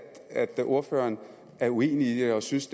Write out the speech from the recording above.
ordføreren er uenig i det og synes